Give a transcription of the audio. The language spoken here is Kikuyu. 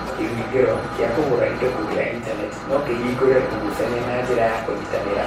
Kĩhũngĩro kĩa kũgũra indo kũgerera Intaneti no kĩhingũre ũgucania na njĩra ya kũnyitanĩra